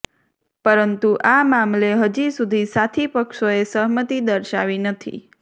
પરંતુ આ મામલે હજી સુધી સાથી પક્ષોએ સહમતિ દર્શાવી નથી